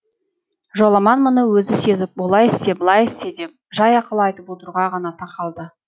жоламан мұны өзі сезіп олай істе былай істе деп жай ақыл айтып отыруға ғана тақалды